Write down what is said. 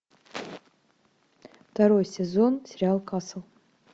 второй сезон сериал касл